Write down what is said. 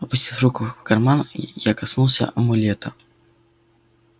опустив руку в карман я коснулся амулета